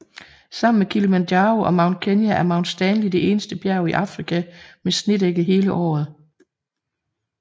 Sammen med Kilimanjaro og Mount Kenya er Mount Stanley det eneste bjerg i Afrika med snedække hele året